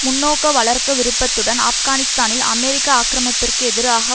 முன்னோக்க வளர்க்க விரும்புவதுடன் ஆப்கானிஸ்தானில் அமெரிக்க ஆக்கிரமிப்பிற்கு எதிராக